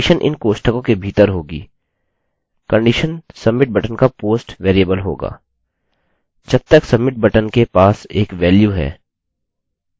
condition submit button का post variable होगा